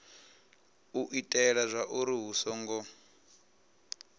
u itela zwauri hu songo